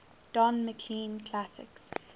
don mclean classics